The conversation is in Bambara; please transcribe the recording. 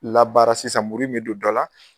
Labaara sisan muru in bɛ don dɔ la.